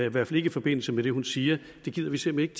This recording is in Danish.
i hvert fald ikke i forbindelse med det hun siger gider vi simpelt